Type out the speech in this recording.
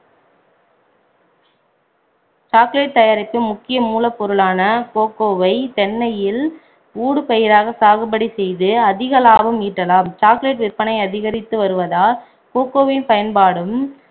chocolate தயாரிப்பில் முக்கிய மூலப்பொருளான கோகோவை தென்னையில் ஊடுபயிராக சாகுபடி செய்து அதிக லாபம் ஈட்டலாம் chocolate விற்பனை அதிகரித்து வருவதால் கோகோவின் பயன்பாடும்